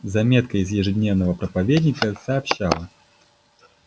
заметка из ежедневного проповедника сообщала